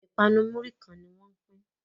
ipanu Muri kán ní wón ń pin